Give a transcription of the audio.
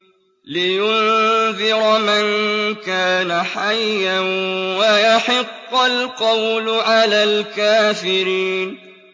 لِّيُنذِرَ مَن كَانَ حَيًّا وَيَحِقَّ الْقَوْلُ عَلَى الْكَافِرِينَ